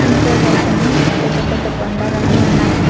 ఇంకోవైపున పెద్ద పెద్ద బండరాళ్ళు ఉన్నాయ్.